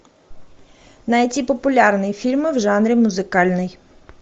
найти популярные фильмы в жанре музыкальный